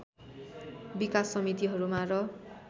विकास समितिहरूमा र